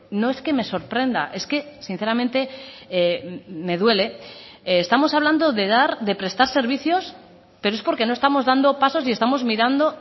no es que me sorprenda es que sinceramente me duele estamos hablando de dar de prestar servicios pero es porque no estamos dando pasos y estamos mirando